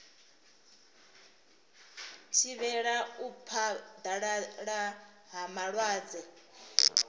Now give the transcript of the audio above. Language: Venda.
thivhela u phaḓalala ha malwadze